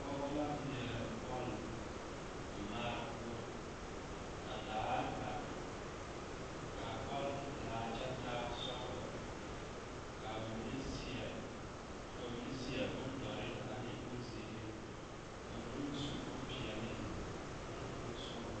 Pɔgeba la ŋmeɛrɛ bɔl mɔraa poɔ ka daare ba ka a bɔl e pelaa kyɛ taa sɔglɔ ka a bamine seɛ bondɔre ne bonzeere ka ba mine meŋ su bompeɛle ane bonsɔglɔ.